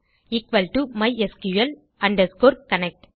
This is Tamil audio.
equal to mysql connect